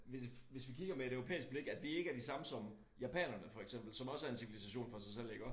Hvis hvis vi kigger med et europæisk blik at vi ikke er de samme som japanerne for eksempel som også er en civilisation for sig selv iggå